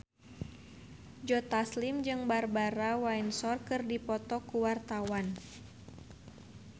Joe Taslim jeung Barbara Windsor keur dipoto ku wartawan